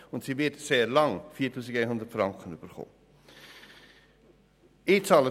Und sie wird sehr lange 4100 Franken erhalten.